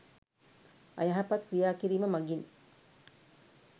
අයහපත් ක්‍රියා කිරීම මඟින්